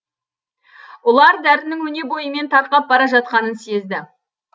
ұлар дәрінің өне бойымен тарқап бара жатқанын сезді